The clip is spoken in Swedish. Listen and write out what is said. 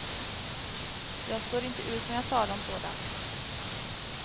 Jag står inte ut med att tala om sådant.